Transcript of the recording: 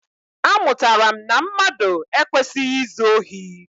Amụtara m na mmadụ ekwesịghị izu ohi.